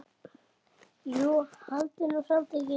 Jú, haldiði nú samt ekki.